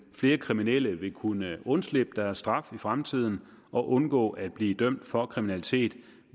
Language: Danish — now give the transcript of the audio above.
flere kriminelle vil kunne undslippe deres straf i fremtiden og undgå at blive dømt for kriminalitet